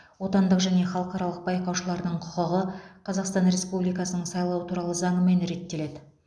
отандық және халықаралық байқаушылардың құқығы қазақстан республикасының сайлау туралы заңымен реттеледі